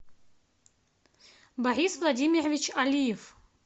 борис владимирович алиев